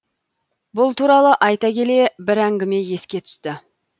бұл туралы айта келе бір әңгіме еске түсті